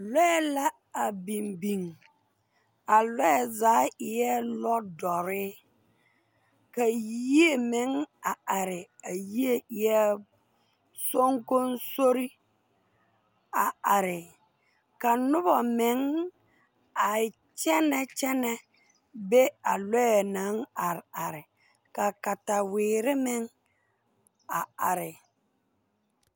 Loɛ la a biŋ biŋ a loɛ zaa eɛɛ lodɔre ka yie meŋ a are a yie eɛɛ songosori a are ka noba meŋ a kyɛnɛ kyɛnɛ be a loɛ naŋ are are ka kataweere meŋ a are.